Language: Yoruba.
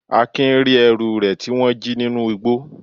Akin ri ẹrú re ti wón ji ninu ìgbó.